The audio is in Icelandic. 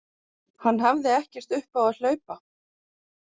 Hann hafði ekkert upp á að hlaupa.